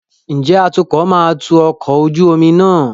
Ǹjẹ́ atukọ̀ máa tu ọkọ̀ ojú omi náà?